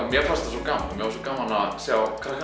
mér fannst svo gaman að sjá